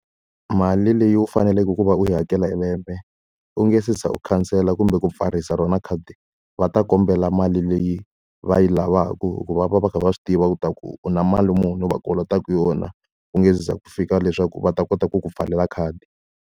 Mali leyi u faneleke ku va u yi hakela hi lembe, u nge se za u khansela kumbe ku pfarisa rona khadi va ta kombela mali leyi va yi lavaka. Ku va va va va kha va swi tiva leswaku u na mali muni u va kolotaka yona ku nge se za ku fika leswaku va ta kota ku ku pfalela khadi.